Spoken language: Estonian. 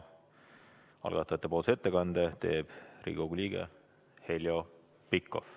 Algatajate nimelt teeb ettekande Riigikogu liige Heljo Pikhof.